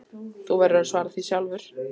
Þú verður að svara því sjálfur.